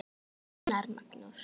Gunnar Magnús.